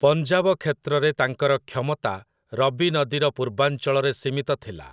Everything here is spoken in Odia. ପଞ୍ଜାବ କ୍ଷେତ୍ରରେ ତାଙ୍କର କ୍ଷମତା ରବି ନଦୀର ପୂର୍ବାଞ୍ଚଳରେ ସୀମିତ ଥିଲା ।